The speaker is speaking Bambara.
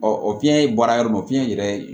o fiɲɛ bɔra yɔrɔ min na fiɲɛ yɛrɛ